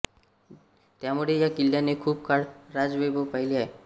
त्यामुळे या किल्ल्याने खूप काळ राजवैभव पाहिले आहे